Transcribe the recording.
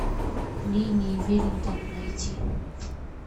линии веллингтона найти